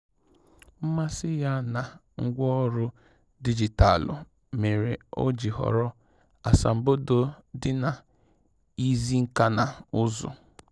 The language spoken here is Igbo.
Mmasị ya na ngwaọrụ dijitalụ mere o ji họrọ asambodo dị na izi nka na ụzụ